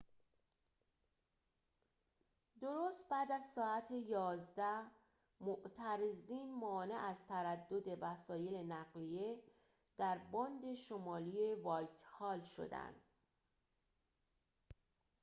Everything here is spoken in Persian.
درست بعد از ساعت ۱۱:۰۰ معترضین مانع از تردد وسایل نقلیه در باند شمالی وایتهال شدند